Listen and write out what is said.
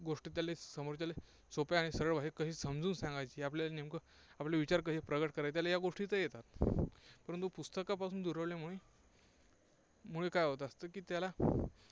गोष्ट त्याले समोरच्याला सोप्या आणि सरळ भाषेत कशी समजून सांगायची आपल्याला नेमकं आपले विचार कसे प्रकट करायचे, त्याला या गोष्टी तर येतात. परंतु पुस्तकापासून दुरावल्यामुळे मुळे काय होतं असतं की त्याला